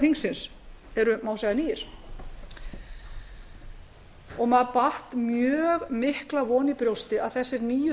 þingsins maður bar mjög mikla von í brjósti um að þessir nýju